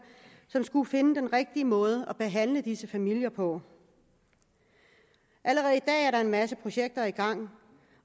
som skulle finde den rigtige måde at behandle disse familier på allerede i dag er der en masse projekter i gang